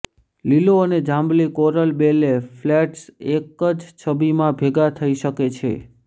લીલો અને જાંબલી કોરલ બેલે ફ્લેટ્સ એક જ છબીમાં ભેગા થઈ શકે છે